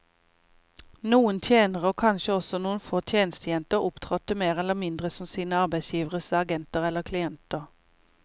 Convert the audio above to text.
Noen tjenere, og kanskje også noen få tjenestejenter, opptrådte mer eller mindre som sine arbeidsgiveres agenter eller klienter.